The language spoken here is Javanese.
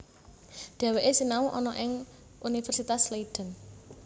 Dhèwèké sinau ana ing Universitas Leiden